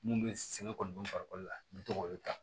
Mun bɛ sɛgɛn kɔni farikolo la n bɛ to k'o olu ta